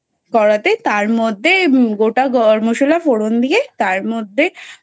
করাতে তার মধ্যে গোটা গরম মশলা ফোড়ন দিয়ে তার মধ্যে